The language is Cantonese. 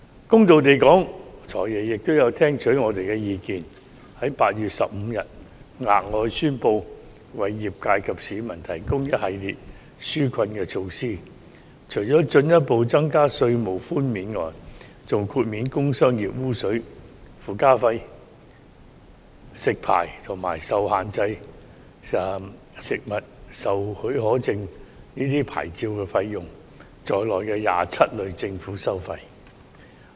公道地說，"財爺"也有聽取我們的意見，於8月15日宣布額外為業界及市民提供一系列紓困措施，除了進一步增加稅務寬免外，還豁免工商業污水附加費、食肆牌照，以及限制出售食物許可證等牌照費用在內的27類政府收費。